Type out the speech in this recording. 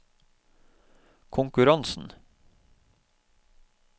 konkurransen